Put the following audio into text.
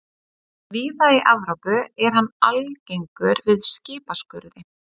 Víða í Evrópu er hann algengur við skipaskurði.